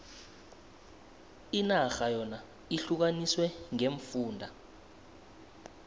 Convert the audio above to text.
inarha yona ihlukaniswe ngeemfunda